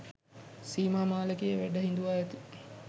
සීමා මාලකයේ වැඩ හිඳුවා ඇති